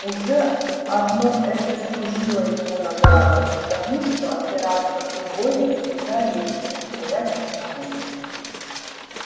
уже одно это служило ему наградой потому что опираться на другое всегда легче чем стоять одному